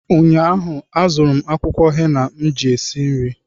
ụnyaahụ, azụrụ m akwụkwọ henna m ga-eji si nri